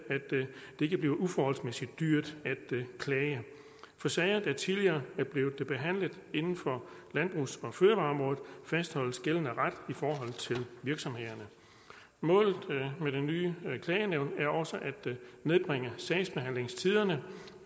ikke bliver uforholdsmæssigt dyrt at klage for sager der tidligere er blevet behandlet inden for landbrugs og fødevareområdet fastholdes gældende ret i forhold til virksomhederne målet med det nye klagenævn er også at nedbringe sagsbehandlingstiderne